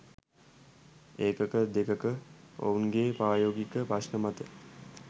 එකක දෙකක ඔවුන්ගේ ප්‍රායෝගික ප්‍රශ්න මත